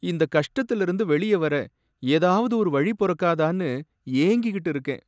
இந்த கஷ்டத்துல இருந்து வெளியவர ஏதாவது ஒரு வழி பொறக்காதானு ஏங்கிக்கிட்டு இருக்கேன்.